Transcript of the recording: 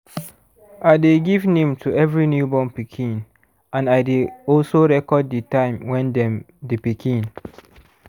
i dey give name to every new born pikin and i dey also record the time when dem the pikin